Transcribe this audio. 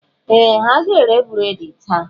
Ee! Ha ga-ere breedị taa.